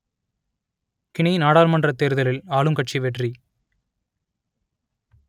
Guinea நாடாளுமன்றத் தேர்தலில் ஆளும் கட்சி வெற்றி